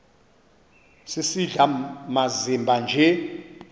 sisidl amazimba nje